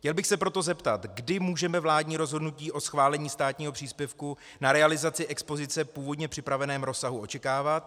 Chtěl bych se proto zeptat, kdy můžeme vládní rozhodnutí o schválení státního příspěvku na realizaci expozice v původně připraveném rozsahu očekávat.